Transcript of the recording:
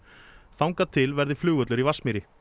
þangað til verði flugvöllur í Vatnsmýri